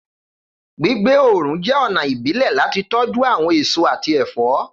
Gbigbe oorun jẹ ọna ibile lati tọju awọn eso ati ẹfọ